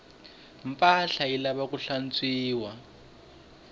mpahla yi lavaku hlantswiwa